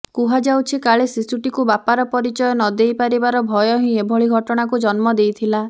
କୁହାଯାଉଛି କାଳେ ଶିଶୁଟିକୁ ବାପାର ପରିଚୟ ନଦେଇ ପାରିବାର ଭୟ ହିଁ ଏଭଳି ଘଟଣାକୁ ଜନ୍ମ ଦେଇଥିଲା